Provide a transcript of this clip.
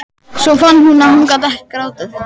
Svo fann hún að hún gat ekki grátið.